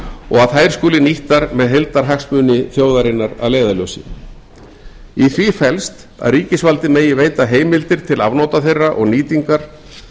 og að þær skuli nýttar með heildarhagsmuni þjóðarinnar að leiðarljósi í því felst að ríkisvaldið megi veita heimildir til afnota þeirra og nýtingar